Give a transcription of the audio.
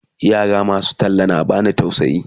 yara masu talla na bani tausayi